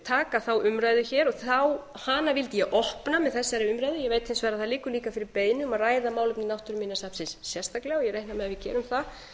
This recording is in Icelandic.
taka þá umræðu hér hana vildi ég opna með þessari umræðu ég veit hins vegar að það liggur fyrir beiðni um að ræða mál náttúruminjasafnsins sérstaklega ég reikna með að við gerum það